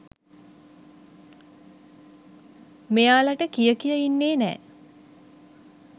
මෙයාලට කිය කිය ඉන්නේ නෑ.